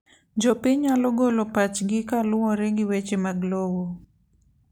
Jopiny nyalo golo pachgi kaluwore gi weche mag lowo.